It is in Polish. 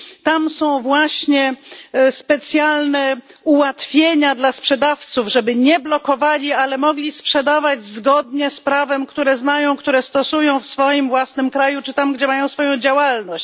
Tam są właśnie specjalne ułatwienia dla sprzedawców, żeby nie blokowali, ale mogli sprzedawać zgodnie z prawem, które znają, które stosują w swoim własnym kraju, czy tam, gdzie mają swoją działalność.